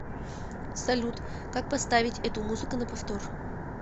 салют как поставить эту музыка на повтор